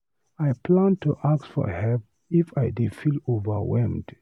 I plan to ask for help if I dey feel overwhelmed.